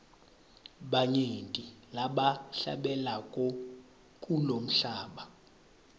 banyenti labahlabelako kulomhlaba